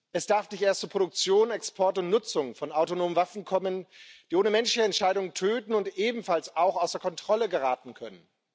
Es darf nicht erst zu Produktion, Export und Nutzung von autonomen Waffen kommen, die ohne Menschenentscheidung töten und ebenfalls außer Kontrolle geraten können.